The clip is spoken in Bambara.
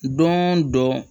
Don dɔ